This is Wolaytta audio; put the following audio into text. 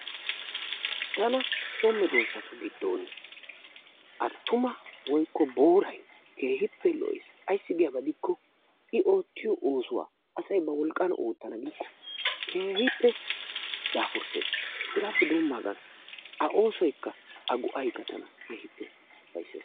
Tana so medoosatu giddon attuma woykko booray keehippe lo''ees. Ayssi giyaaba gidikko i oottiyo oosuwa asay ba wolqqan oottana giiko keehippe daafuresses, hegappe doomagan A oosoykka A go''aykka tana keehippe ufaysses.